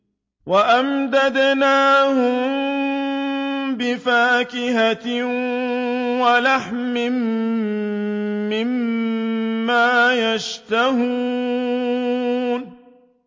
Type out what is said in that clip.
وَأَمْدَدْنَاهُم بِفَاكِهَةٍ وَلَحْمٍ مِّمَّا يَشْتَهُونَ